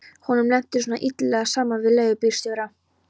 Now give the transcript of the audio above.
Honum lenti svona illilega saman við leigubílstjóra.